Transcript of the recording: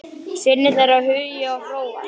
Synir þeirra Hugi og Hróar.